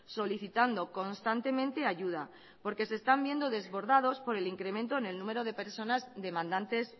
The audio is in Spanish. solicitando constantemente ayuda porque se están viendo desbordados por el incremento en el número de personas demandantes